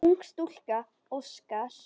Ung stúlka óskar.